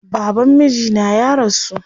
Baban mijina ya rasu.